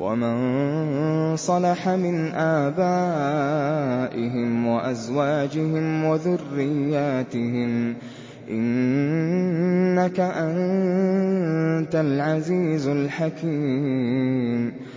وَمَن صَلَحَ مِنْ آبَائِهِمْ وَأَزْوَاجِهِمْ وَذُرِّيَّاتِهِمْ ۚ إِنَّكَ أَنتَ الْعَزِيزُ الْحَكِيمُ